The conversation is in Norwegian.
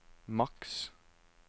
maks